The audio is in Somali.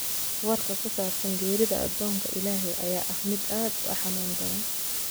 Warka ku saabsan geerida addoonka Ilaahay ayaa ah mid aad u xanuun badan